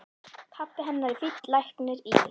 Pabbi hennar er fínn læknir í